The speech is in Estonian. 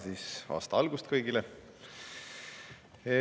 Kena aasta algust kõigile!